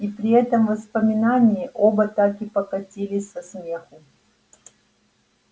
и при этом воспоминании оба так и покатились со смеху